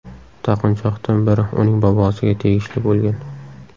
Taqinchoqdan biri uning bobosiga tegishli bo‘lgan.